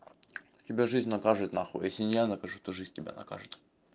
тебя жизнь накажет нахуй если не я накажу то жизнь тебя накажет